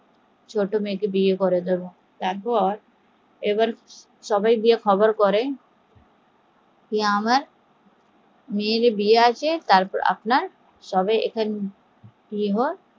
ছোট মেয়েকে বিয়ে করিয়ে দেব তারপর সবাই গিয়ে খবর করে আমার মেয়ের বিয়ে আছে আপনার সবাই